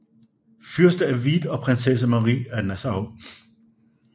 Fyrste af Wied og Prinsesse Marie af Nassau